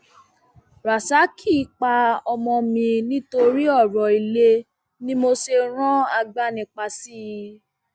rasaki pa ọmọ mi nítorí ọrọ ilé ni mo ṣe rán agbanipa sí i